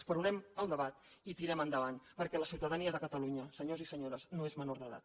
esperonem el debat i tirem endavant perquè la ciutadania de catalunya senyors i senyores no és menor d’edat